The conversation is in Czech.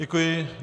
Děkuji.